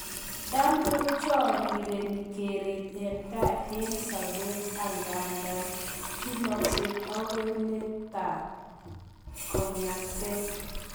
Tam kochorireni keret en tai en sobet, angandan chulokse agoi leetab kong'atet.